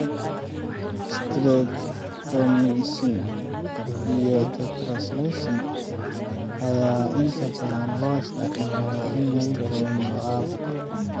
Streptomycin iyo tetracycline ayaa inta badan loo isticmaalaa in lagu daweeyo caabuqa.